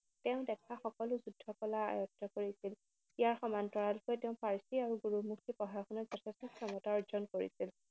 তেওঁ দেখা সকলো যুদ্ধকলা আয়ত্ত্ব কৰিছিল। ইয়াৰ সমান্তৰালকৈ তেওঁ পাৰ্ছী আৰু গুৰুমুখী পঢ়া শুনাত যথেষ্ঠ ক্ষমতা অৰ্জন কৰিছিল।